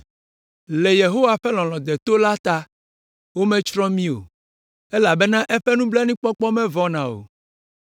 Le Yehowa ƒe lɔlɔ̃ deto la ta wometsrɔ̃ mí o elabena eƒe nublanuikpɔkpɔ mevɔna o.